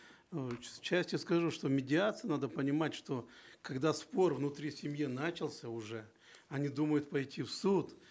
э части скажу что медиация надо понимать что когда спор внутри семьи начался уже они думают пойти в суд